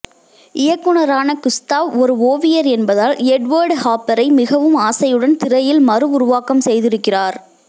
இயக்குனரான Gustav ஒரு ஒவியர் என்பதால் எட்வர்ட் ஹாப்பரை மிகவும் ஆசையுடன் திரையில் மறுஉருவாக்கம் செய்திருக்கிறார்